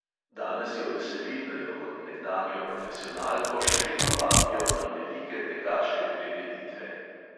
Danes jo veseli, da jo kot nekdanjo profesionalko še vedno vabijo na velike tekaške prireditve.